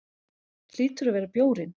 Hlýtur að vera bjórinn.